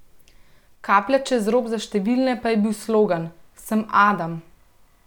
Kaplja čez rob za številne pa je bil slogan: "Sem Adam.